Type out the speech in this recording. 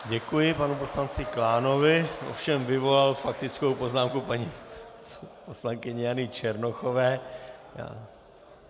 Děkuji panu poslanci Klánovi, ovšem vyvolal faktickou poznámku paní poslankyně Jany Černochové.